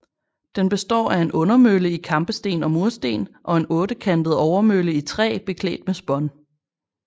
Den består af en undermølle i kampesten og mursten og en ottekantet overmølle i træ beklædt med spån